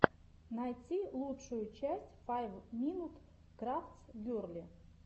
найти лучшую часть файв минут крафтс герли